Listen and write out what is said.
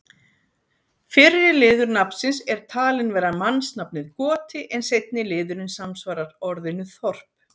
Fyrri liður nafnsins er talinn vera mannsnafnið Goti en seinni liðurinn samsvarar orðinu þorp.